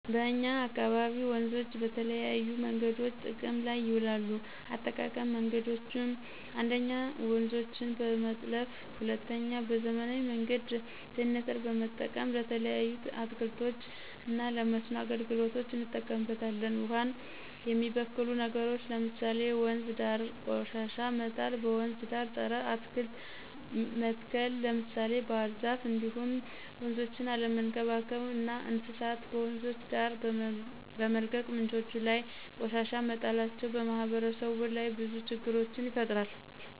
በእኛ አካባቢ ወንዞችን በተለያዬ መንገዶች ጥቅም ላይ ይውላሉ የአጠቃቀም መንገዶችም 1ኞ:-ውንዞችን በመጥለፍ 2ኛ:- በዘመናዊ መንገድ ጀነሬተር በመጠቀም። ለተለያዩ አትክልቶች እና ለመስኖ አገልግሎት እንጠቀምበታለን። ውሃን የሚበክሉ ነገሮች ለምሳሌ:- ወንዝ ዳር ቆሻሻ መጣል; በወንዝ ዳር ፀረ አትክልት መትከል ለምሳሌ ባህርዛፍ እንዲሁም ወንዞችን አለመንከባከብ እና እንስሳት በወንዞች ዳር በመልቀቅ ምንጮች ላይ ቆሻሻ መጣላቸው። በማህበረሰቡ ላይ ብዙ ችግሮችን ይፈጥራል